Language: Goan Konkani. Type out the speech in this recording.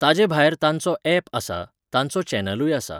ताजे भायर तांचो ऍप आसा, तांचो चॅनलूय आसा.